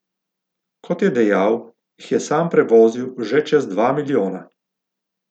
Kot je dejal, jih je sam prevozil že čez dva milijona.